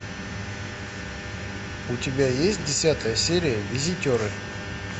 у тебя есть десятая серия визитеры